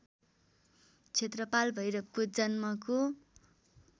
क्षेत्रपाल भैरवको जन्मको